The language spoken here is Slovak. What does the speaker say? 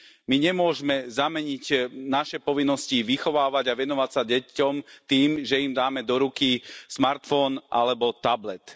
My nemôžeme zameniť naše povinnosti vychovávať a venovať sa deťom tým, že im dáme do ruky smartfón alebo tablet.